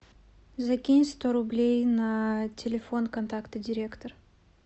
закинь сто рублей на телефон контакта директор